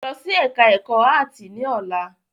Lọ sí ẹka ẹ̀kọ́ áàtì ní ọ̀la!